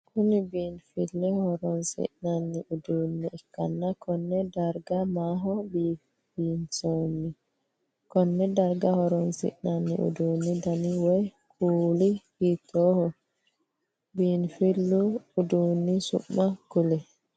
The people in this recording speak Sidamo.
Kunni biinfileho horoonsi'nanni uduune ikanna konne darga maaho biifinsoonni? Konne darga horoonsi'nanni uduunni danna woyi kuuli hiitooho? Biinfilu uduunni su'ma kuli?